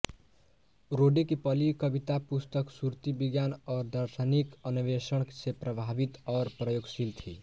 रोडे की पहली कविता पुस्तक सुरती विज्ञान और दार्शनिक अन्वेषण से प्रभावित और प्रयोगशील थी